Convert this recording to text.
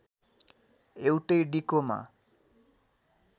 एउटै डिकोमा